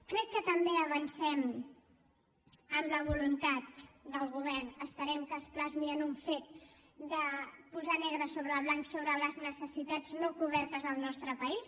crec que també avancem en la voluntat del govern esperem que es plasmi en un fet de posar negre sobre blanc sobre les necessitats no cobertes al nostre país